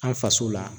An faso la